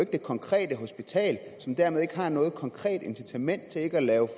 det konkrete hospital som dermed ikke har noget konkret incitament til ikke at